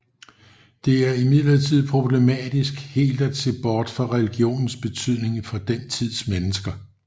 Det er imidlertid problematisk helt at se bort fra religionens betydning for den tids mennesker